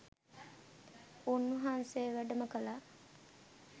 උන්වහන්සේ වැඩම කළා.